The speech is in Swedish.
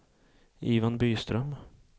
Ivan Byström